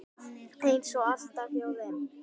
Eins og alltaf hjá þeim.